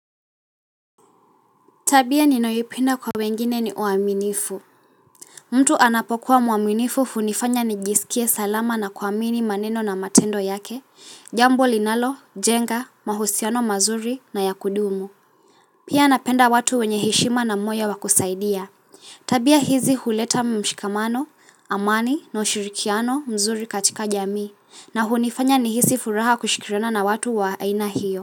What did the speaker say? Tabia ninayoipenda kwa wengine ni uaminifu mtu anapokuwa mwaminifu hunifanya nijisikie salama na kuamini maneno na matendo yake Jambo linalojenga, mahusiano mazuri na ya kudumu Pia napenda watu wenye heshima na moyo wa kusaidia Tabia hizi huleta mshikamano, amani na ushirikiano mzuri katika jamii na hunifanya nihisi furaha kushikiliana na watu wa aina hiyo.